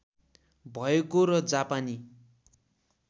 भएको र जापानी